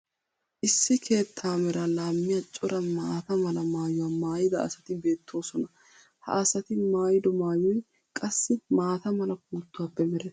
issi keettaa meraa laammiya cora maata mala maayuwa maayida asati beettoosona. ha asati maayido maayoy qassi maata mala puuttuwaappe merettees.